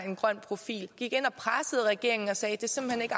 en grøn profil der gik ind og pressede regeringen og sagde at det simpelt